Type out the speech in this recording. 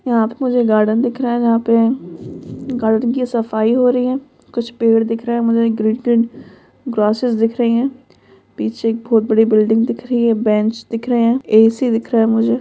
यहा पे मुझे गार्डन दिख रहा है जहा पे गार्डन की सफाई हो रही हैं कुछ पेड़ दिख रहे हैं मुझे ग्रीन-ग्रीन ग्रासेज दिख रही है पीछे एक बहुत बड़ी बिल्डिंग दिख रही हैं ये बेंच दिख रहे हैं ए_सी दिख रहा है मुझे--